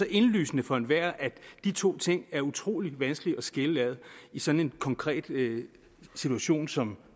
indlysende for enhver at de to ting er utrolig vanskelige at skille ad i sådan en konkret situation som